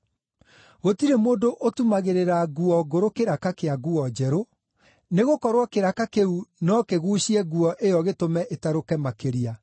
“Gũtirĩ mũndũ ũtumagĩrĩra nguo ngũrũ kĩraka kĩa nguo njerũ, nĩgũkorwo kĩraka kĩu no kĩguucie nguo ĩyo gĩtũme ĩtarũke makĩria.